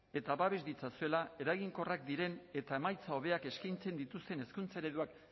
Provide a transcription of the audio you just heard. eta babes ditzatela eraginkorrak diren eta emaitza hobeak eskaintzen dituzten hezkuntza ereduak